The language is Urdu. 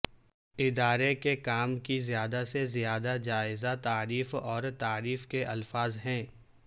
ادارے کے کام کی زیادہ سے زیادہ جائزہ تعریف اور تعریف کے الفاظ ہیں